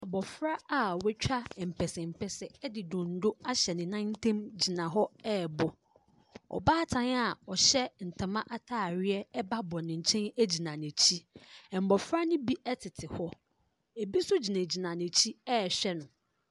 Abɔfra a watwa mpɛsɛmpɛsɛ de donno ahyɛ ne nan ntam gyina hɔ rebɔ. Ɔbaatan a ɔhyɛ ntoma atareɛ ba bɔ ne nkyɛn gyina n'akyi. Mmɔfra no bi tete hɔ. Ebi nso gyinagyina n'akyi rehwɛ no.